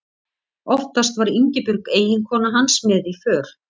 Oftast var Ingibjörg eiginkona hans með í för.